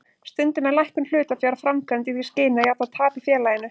Stundum er lækkun hlutafjár framkvæmd í því skyni að jafna tap í félaginu.